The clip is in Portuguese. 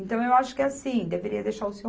Então, eu acho que assim, deveria deixar o Seu